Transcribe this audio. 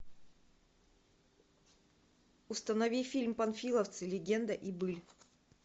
установи фильм панфиловцы легенда и быль